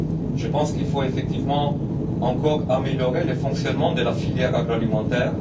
Je pense qu'il faut effectivement encore améliorer le fonctionnement de la filière agroalimentaire.